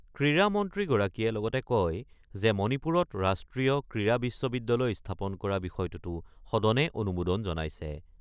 ক্ৰীড়া মন্ত্ৰীগৰাকীয়ে লগতে কয় যে, মণিপুৰত ৰাষ্ট্ৰীয় ক্ৰীড়া বিশ্ববিদ্যালয় স্থাপন কৰাৰ বিষয়টোতো সদনে অনুমোদন জনাইছে।